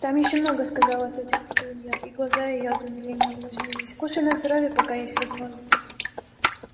там ещё много сказала тётя петунья и глаза её от умиления увлажнились кушай на здоровье пока есть возможность